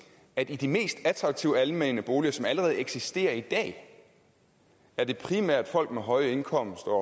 at i de mest attraktive almene boliger som allerede eksisterer i dag er det primært folk med høje indkomster